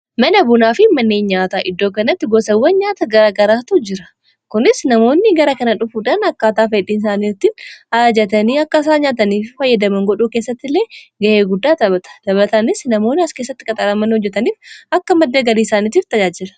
mana bunaafin manneenyaata iddoo kanatti gosawwan nyaata garagaraatu jira kunis namoonni gara kana dhufuudhaan akkaataafaidhiiisaaniirtiin aajatanii akka isaa nyaataniifi fayyadameen godhuu keessatti illee ga'ee guddaa taphata dabataanis namoonni as keessatti qaxaala man hojjetaniif akka maddagarii isaaniitiif tajaajira